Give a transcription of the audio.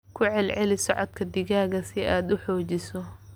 Ku celceli socodka digaagga si aad u xoojiso.